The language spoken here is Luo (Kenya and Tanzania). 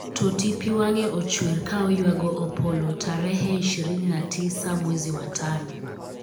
Totti pi wange och'wer ka oywago Opollo tarehe ishirini na tisa mwezi wa tano